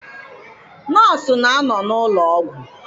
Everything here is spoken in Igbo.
Nọọsụ na-anọ n'ụlọ ọgwụ.